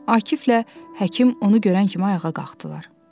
Akiflə həkim onu görən kimi ayağa qalxdılar.